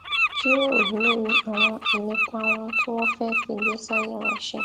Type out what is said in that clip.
jíròrò lórí àwọn ìlépa ohun tí wón fé fi ìgbésí ayé wọn ṣe